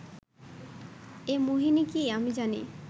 এ মোহিনী কি, আমি জানি